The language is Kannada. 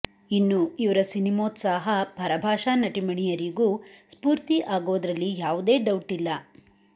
ಇನ್ನು ಇವ್ರ ಸಿನಿಮೋತ್ಸಾಹ ಪರಭಾಷಾ ನಟೀಮಣಿಯರಿಗೂ ಸ್ಫೂರ್ತಿ ಆಗೋದ್ರಲ್ಲಿ ಯಾವುದೇ ಡೌಟ್ ಇಲ್ಲ